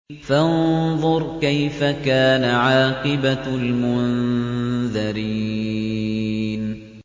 فَانظُرْ كَيْفَ كَانَ عَاقِبَةُ الْمُنذَرِينَ